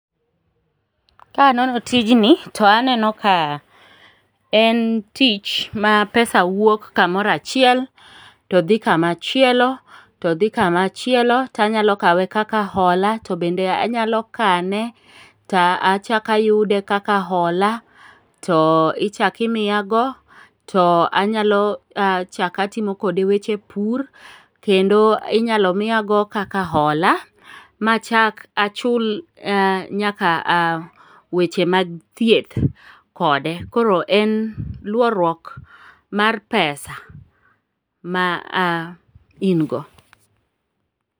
Kanono tijni, to aneno ka en tich ma pesa wuok kamoro achiel todhi kamachielo, todhi kamachielo tanyalo kawe kaka hola ,to bende anyalo kane, to achako ayude kaka hola, to ichako imiyago to anyalo achako atimo kode weche pur, kendo inyalo miyago kaka hola machaka achul nyaka weche mag thieth kode. Koro en luorruok mar pesa ma in go.